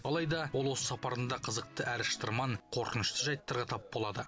алайда ол осы сапарында қызықты әрі шытырман қорқынышты жайттарға тап болады